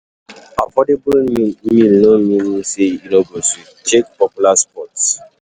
Affordable meal no mean say e no go sweet, check out popular spots.